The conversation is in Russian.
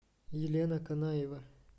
елена канаева